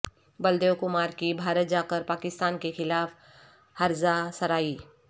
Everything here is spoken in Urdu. بلدیو کمار کی بھارت جاکر پاکستان کیخلاف ہرزہ سرائی